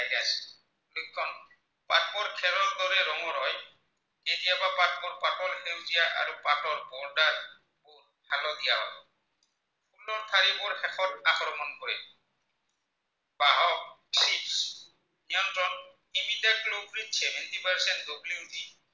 any type seventy percent the